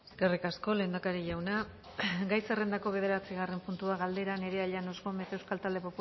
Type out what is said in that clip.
eskerrik asko lehendakari jauna gai zerrendako bederatzigarren puntua galdera nerea llanos gómez euskal talde